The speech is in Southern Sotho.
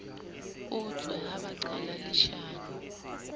utswe ha ba qale leshano